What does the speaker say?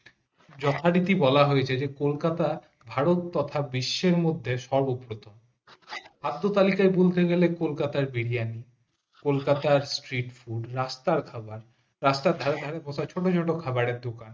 যথারীতি বলা হয়েছে যে কলকাতা ভারত তোতা বিশ্বের মধ্যে সমদৃত খাদ্য তালাকে বলতে গেলে কলকাতা বিরিয়ানি কলকাতা আর ট্রিট ফুড রাস্তার খাবার রাস্তার ধারে কত ছোট ছোট খাবারের দোকান